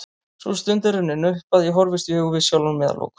Sú stund er runnin upp að ég horfist í augu við sjálfan mig að lokum.